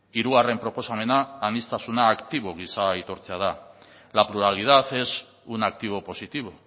hirugarren proposamena aniztasuna aktibo gisa aitortzea da la pluralidad es una activo positivo